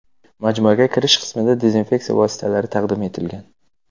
Majmuaga kirish qismida dezinfeksiya vositalari taqdim etilgan.